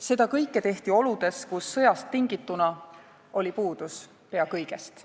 Seda kõike tehti oludes, kus sõjast tingituna oli puudus pea kõigest.